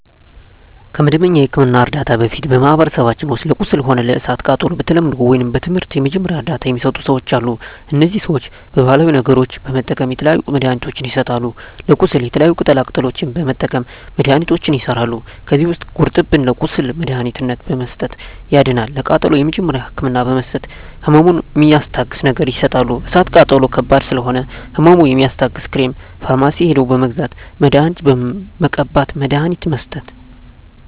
ከመደበኛ የሕክምና ዕርዳታ በፊት በማኀበረሰባችን ውስጥ ለቁስል ሆነ ለእሳት ቃጠሎው በተለምዶው ወይም በትምህርት የመጀመሪያ እርዳታ ሚሰጡ ሰዎች አሉ እነዚህ ሰዎች ባሀላዊ ነገሮች በመጠቀም የተለያዩ መድሀኒትችን ይሰጣሉ ለቁስል የተለያዩ ቅጠላ ቅጠሎችን በመጠቀም መድሀኒቶች ይሠራሉ ከዚህ ውስጥ ጉርጠብን ለቁስል መድሀኒትነት በመስጠት ያድናል ለቃጠሎ የመጀመሪያ ህክምና በመስጠት ህመሙን ሚስታግስ ነገር ይሰጣሉ እሳት ቃጠሎ ከባድ ስለሆነ ህመሙ የሚያስታግስ ክሬም ፈርማሲ ሄደው በመግዛት መድሀኒት መቀባት መድሀኒት መስጠት